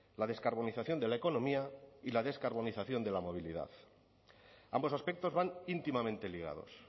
la descarbonización de la economía y la descarbonización de la movilidad ambos aspectos van íntimamente ligados